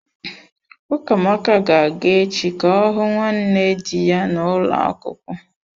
Ukamaka ga-aga echi ka ọ hụ nwanne dị ya n'ulo akwukwo.